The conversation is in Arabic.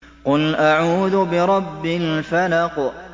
قُلْ أَعُوذُ بِرَبِّ الْفَلَقِ